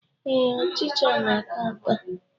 Ee, ọchịcha na-ata ata